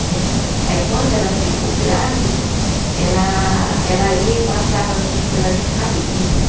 Né. Aí quando ela ficou grávida, ela ela ia e passava assim pela gente rapidinho, né?